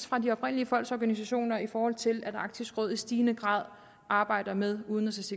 fra de oprindelige folks organisationer i forhold til at arktisk råd i stigende grad arbejder med udenrigs